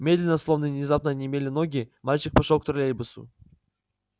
медленно словно внезапно онемели ноги мальчик пошёл к троллейбусу